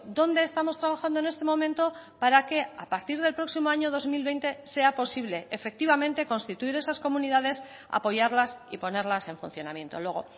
dónde estamos trabajando en este momento para que a partir del próximo año dos mil veinte sea posible efectivamente constituir esas comunidades apoyarlas y ponerlas en funcionamiento luego